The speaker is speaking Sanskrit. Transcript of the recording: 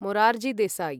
मोरार्जी देसाई